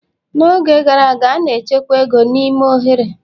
n'oge gara aga, a na-echekwa ego n'ime oghere